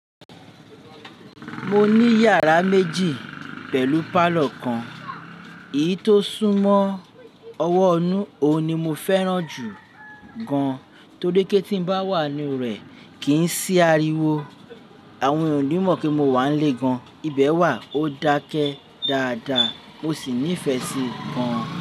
Mo ní yàrá méjì pẹ̀lú pálọ̀ kan, èyí tó sún mọ́ ọwọ́ inu òun ni mo fẹ́ràn jù gan-an torí pé ti n bá wà nínú rẹ̀ kì í sí ariwo, àwọn ènìyàn òní mọ̀ pé mo wà ń lé gan-an, ibẹ̀ wà ó dákẹ́ dáadáa mo sì nífẹ̀ẹ́ sí i gan-an.